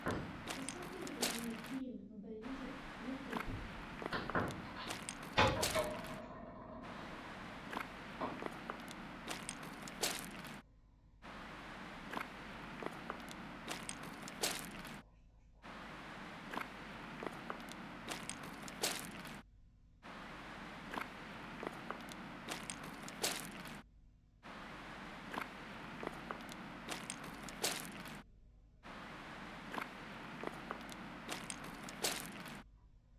посоветуй мне клин бэндит ютуб